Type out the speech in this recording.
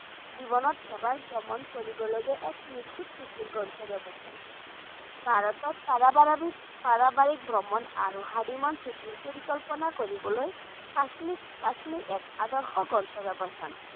জীৱনত ভ্ৰমণ কৰিবলগীয়া এক নিখুঁট ছুটিৰ গন্তব্য স্থান ভাৰতত পাৰিবাৰিক ভ্ৰমণ আৰু honeymoon ছুটিৰ পৰিকল্পনা কৰিবলৈ কাশ্মীৰ কাশ্মীৰ এক আদৰ্শ গন্তব্য স্থান।